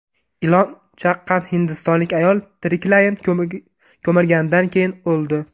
Ilon chaqqan hindistonlik ayol tiriklayin ko‘milganidan keyin o‘ldi.